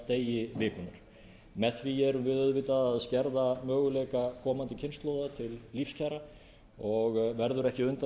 degi vikunnar með því erum við auðvitað að skerða möguleika komandi kynslóða til lífskjara og verður ekki undan